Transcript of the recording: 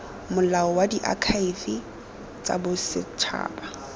molao wa diakhaefe tsa bosetšhaba